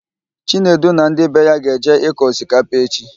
Chinedu na ndị be ya ga-eje ịkọ osikapa echi.